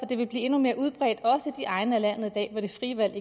det vil blive endnu mere udbredt også i de egne af landet hvor det frie valg i